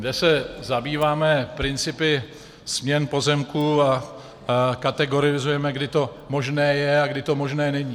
... kde se zabýváme principy směn pozemků a kategorizujeme, kdy to možné je a kdy to možné není.